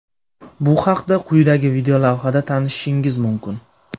Bu haqda quyidagi videolavhada tanishishingiz mumkin.